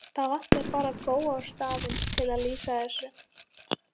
Það vantaði bara Góa á staðinn til að lýsa þessu.